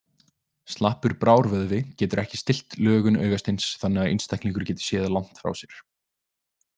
Slappur brárvöðvi getur ekki stillt lögun augasteins þannig að einstaklingur geti séð langt frá sér.